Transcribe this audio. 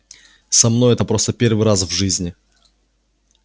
со мной это просто первый раз в жизни